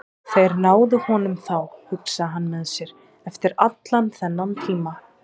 Þeir náðu honum þá, hugsaði hann með sér, eftir allan þennan tíma.